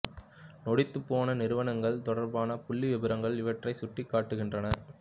நொடித்துப் போன நிறுவனங்கள் தொடர்பான புள்ளி விபரங்கள் இவற்றைச் சுட்டிக் காட்டுகின்றன